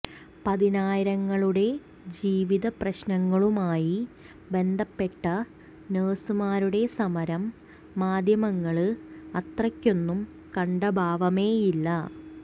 പതിനായിരങ്ങളുടെ ജീവിത പ്രശ്നങ്ങളുമായി ബന്ധപ്പെട്ട നഴ്സുമാരുടെ സമരം മാധ്യമങ്ങള് അത്രയ്ക്കൊന്നും കണ്ട ഭാവമേയില്ല